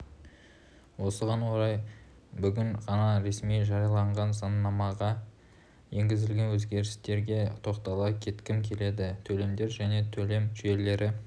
осыған орай бүгін ғана ресми жарияланған заңнамаға енгізілген өзгерістерге тоқтала кеткім келеді төлемдер және төлем жүйелері